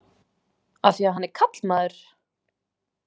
Af því að hann er karlmaður?